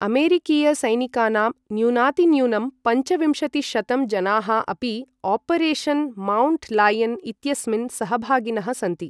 अमेरिकीयसैनिकानाम् न्यूनातिन्यूनं पञ्चविंशतिशतं जनाः अपि ओपरेशन् माउण्ट लायन् इत्यस्मिन् सहभागिनः सन्ति।